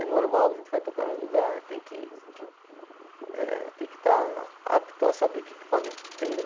É normal, a gente vai tocar num lugar, tem que eh tem que estar apto a saber que equipamento que tem, né?